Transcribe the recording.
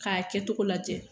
K'a kɛcogo lajɛ